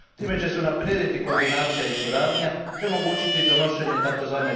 Time će se unaprijediti koordinacija i suradnja te omogućiti donošenje tzv.